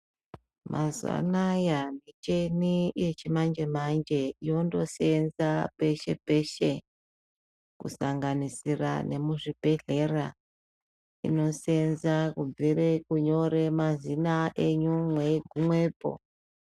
Mazuwa anaya michini yechimanje-manje inondoseenza peshe-peshe, kusanganisira nemuzvibhedhlera inoseenza kubvire kunyore mazina enyu mweyigumepo.